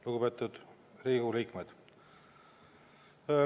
Lugupeetud Riigikogu liikmed!